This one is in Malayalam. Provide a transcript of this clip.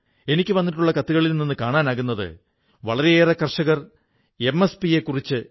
എനിക്കു വന്നിട്ടുള്ള കത്തുകളിൽ നിന്നു കാണാനാകുന്നത് വളരെയേറെ കർഷകർ കുറഞ്ഞ താങ്ങു വിലയെക്കുറിച്ച് എം